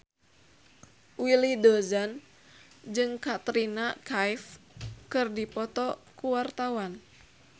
Willy Dozan jeung Katrina Kaif keur dipoto ku wartawan